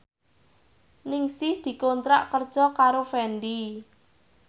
Ningsih dikontrak kerja karo Fendi